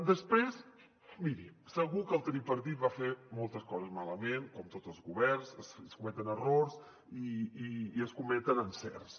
després miri segur que el tripartit va fer moltes coses malament com tots els governs es cometen errors i es cometen encerts